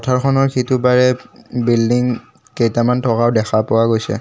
পথাৰখনৰ সিটোপাৰে উম বিল্ডিং কেইটামান থকাও দেখা পোৱা গৈছে।